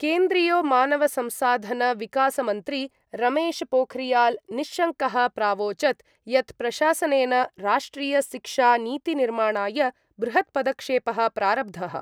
केन्द्रीयो मानवसंसाधनविकासमन्त्री रमेशपोखरियालनिश्शङ्कः प्रावोचत् यत् प्रशासनेन राष्ट्रियशिक्षानीतिनिर्माणाय बृहत्पदक्षेपः प्रारब्धः।